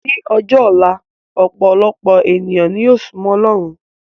Ní ọjọ́ ọ̀la, ọpọ̀lọpọ̀ ènìyàn ni yóò súmọ́ ọlọ́run